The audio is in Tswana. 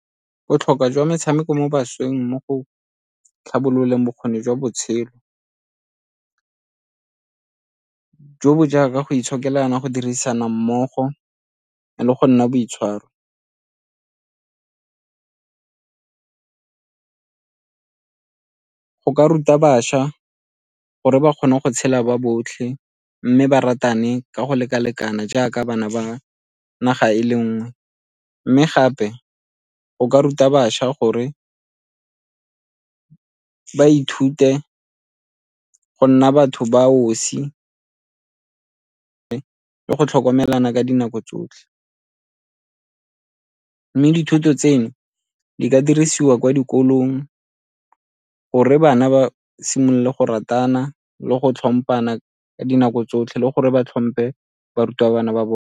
Botlhokwa jwa metshameko mo bašweng mo go tlhabololeng bokgoni jwa botshelo, jo bo jaaka go itshokelana, go dirisana mmogo le go nna boitshwaro. Go ka ruta bašwa gore ba kgona go tshela ba botlhe mme ba ratane ka go leka-lekana jaaka bana ba naga e le nngwe, mme gape go ka ruta bašwa gore ba ithute go nna batho ba osi le go tlhokomelana ka dinako tsotlhe. Mme dithuto tseo di ka dirisiwa kwa dikolong gore bana ba simolola go ratana le go tlhomphana ka dinako tsotlhe le gore ba tlhomphe barutabana ba bone.